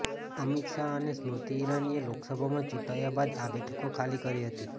અમિત શાહ અને સ્મૃતિ ઈરાનીએ લોકસભામાં ચૂંટાયા બાદ આ બેઠકો ખાલી કરી હતી